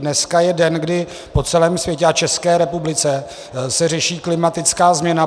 Dneska je den, kdy po celém světě a České republice se řeší klimatická změna.